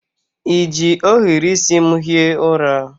I ji ohiri isi m hie ụra?